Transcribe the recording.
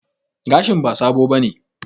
Gashin ba sabo bane